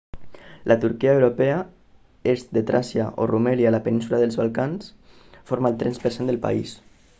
la turquia europea est de tràcia o rumèlia a la península dels balcans forma el 3% del país